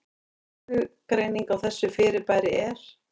Skilgreining á þessu fyrirbæri er: